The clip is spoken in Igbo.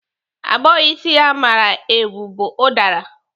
Agbọghọ isi ya mara eu bu ụdara.